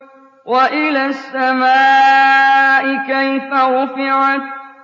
وَإِلَى السَّمَاءِ كَيْفَ رُفِعَتْ